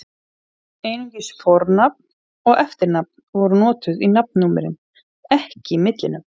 Einungis fornafn og eftirnafn voru notuð í nafnnúmerin, ekki millinöfn.